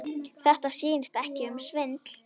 Þetta snýst ekki um svindl.